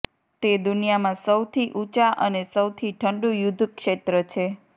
તે દુનિયામાં સૌથી ઉંચા અને સૌથી ઠંડુ યુદ્ધક્ષેત્ર છે